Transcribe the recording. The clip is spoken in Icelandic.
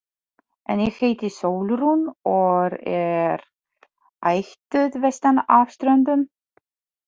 En ég heiti Sólrún og er ættuð vestan af Ströndum.